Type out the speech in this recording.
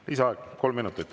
Lisaaeg kolm minutit.